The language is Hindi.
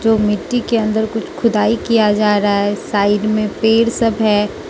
तो मिट्टी के अंदर कुछ खुदाई किया जा रहा है साइड में पेड़ सब है।